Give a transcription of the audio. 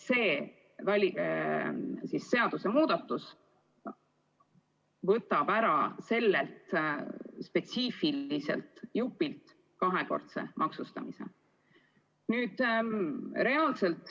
See seadusemuudatus võtab sellelt spetsiifiliselt grupilt kahekordse maksustamise.